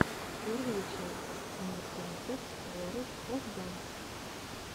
первая часть мир танцев ворлд оф данс